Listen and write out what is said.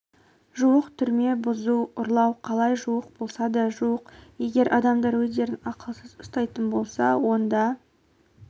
жуық түрме бұзу ұрлау қалай жуық болса да жуық егер адамдар өздерін ақылсыз ұстайтын болса онда